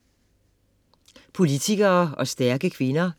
Politikere og stærke kvinder